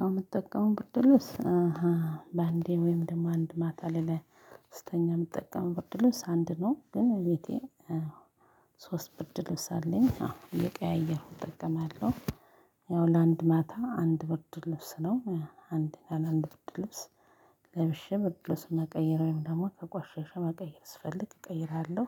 ያው የምጠቀመው ብርድልብስ አሃ በአንዴ ወይም ደግሞ አንድ ማታ ላይ ስተኛ የምጠቀመው ብርድ ልብስ አንድ ነው። ግን ቤቴ ሶስት ብርድ ልብስ አለኝ አዎ እየቀያየሁ እጠቀማለሁ። ያው ለአንድ ማታ አንድ ብርድ ልብስ ነው። አንድ ቀን አንድ ብርድ ልብስ ለብሼ መቀየር ወይም ደግሞ ከቆሸሸ መቀየር ስፈልግ እቀይራለሁ።